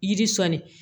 Yiri sɔnni